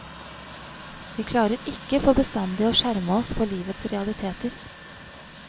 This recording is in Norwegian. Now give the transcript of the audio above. Vi klarer ikke for bestandig å skjerme oss for livets realiteter.